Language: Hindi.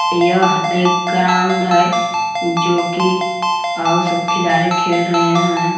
यह एक ग्राउंड है जो कि आव सब खिलाड़ी खेल रहे हैं।